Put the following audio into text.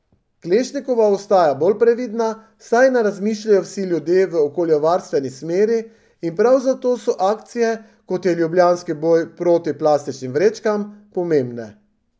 Klešnikova ostaja bolj previdna, saj ne razmišljajo vsi ljudje v okoljevarstveni smeri, in prav zato so akcije, kot je ljubljanski boj proti plastičnim vrečkam, pomembne.